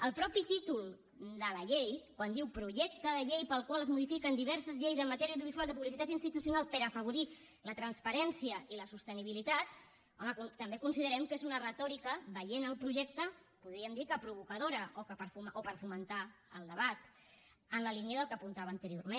el mateix títol de la llei quan diu projecte de llei pel qual es modifiquen diverses lleis en matèria audiovisual de publicitat institucional per afavorir la transparència i la sostenibilitat home també considerem que és una retòrica veient el projecte podríem dir que provocadora o per fomentar el debat en la línia del que apuntava anteriorment